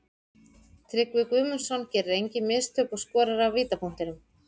Tryggvi Guðmundsson gerir engin mistök og skorar af vítapunktinum.